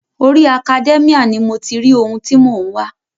Orí Academia ni mo ti ri ohun ti mò ń wá.